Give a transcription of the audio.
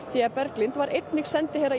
því Berglind var einnig sendiherra